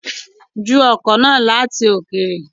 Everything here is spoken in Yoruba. Ju ọ̀kọ̀ náà láti òkèrè